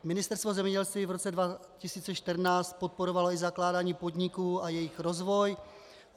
Ministerstvo zemědělství v roce 2014 podporovalo i zakládání podniků a jejich rozvoj.